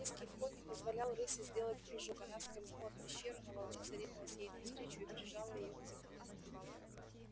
низкий вход не позволял рыси сделать прыжок она скользнула в пещеру но волчица ринулась ей навстречу и прижала её к земле